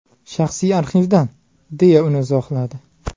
Shaxsiy arxivdan”, deya uni izohladi.